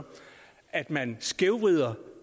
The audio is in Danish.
at man skævvrider